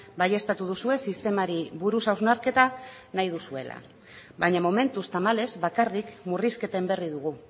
baieztatu duzue sistemari buruz hausnarketa nahi duzuela baina momentuz tamalez bakarrik murrizketen berri dugu